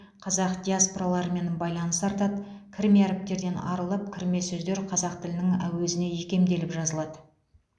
қазақ диаспораларымен байланыс артады кірме әріптерден арылып кірме сөздер қазақ тілінің әуезіне икемделіп жазылады